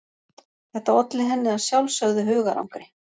Þetta olli henni að sjálfsögðu hugarangri.